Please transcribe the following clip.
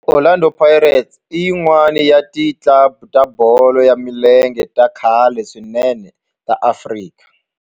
Orlando Pirates i yin'wana ya ti club ta bolo ya milenge ta khale swinene ta Afrika